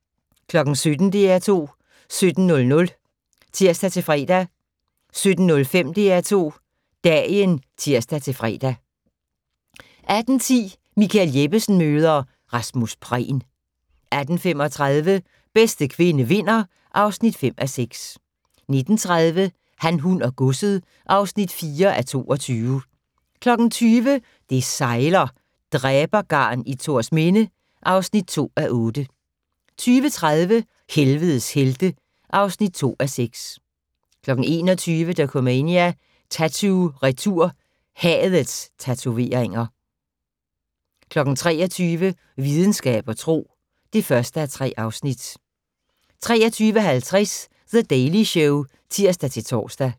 17:00: DR2 17:00 (tir-fre) 17:05: DR2 Dagen (tir-fre) 18:10: Michael Jeppesen møder ... Rasmus Prehn 18:35: Bedste kvinde vinder (5:6) 19:30: Han, hun og godset (4:22) 20:00: Det sejler - Dræbergarn i Thorsminde (2:8) 20:30: Helvedes helte (2:6) 21:00: Dokumania: Tatoo-retur - hadets tatoveringer 23:00: Videnskab og tro (1:3) 23:50: The Daily Show (tir-tor)